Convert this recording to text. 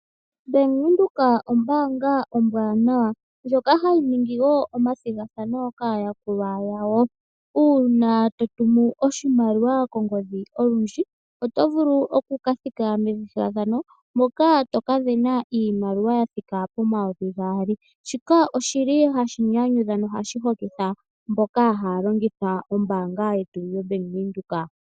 Bank Windhoek ombaanga ombwanawa ndjoka hayi ningi wo omathigathano kaayakulwa yawo. Uuna to tumu oshimaliwa kongodhi olundji oto vulu oku kathika methigathano moka toka sindana iimaliwa ya thika pomayovi gaali. Shika oshili hashi nyanyudha nohashi hokitha mboka haya longitha ombaanga yetu yoBank Windhoek.